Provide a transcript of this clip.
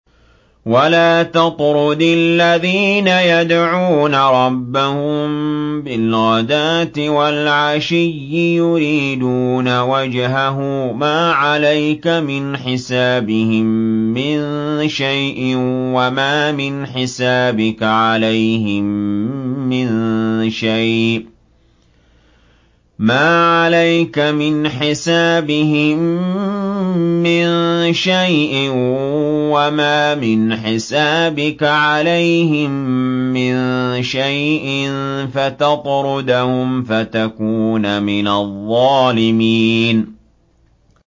وَلَا تَطْرُدِ الَّذِينَ يَدْعُونَ رَبَّهُم بِالْغَدَاةِ وَالْعَشِيِّ يُرِيدُونَ وَجْهَهُ ۖ مَا عَلَيْكَ مِنْ حِسَابِهِم مِّن شَيْءٍ وَمَا مِنْ حِسَابِكَ عَلَيْهِم مِّن شَيْءٍ فَتَطْرُدَهُمْ فَتَكُونَ مِنَ الظَّالِمِينَ